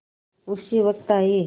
उसी वक्त आये